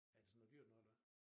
Er det sådan noget dyrt noget eller hvad?